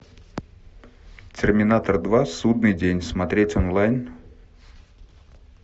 терминатор два судный день смотреть онлайн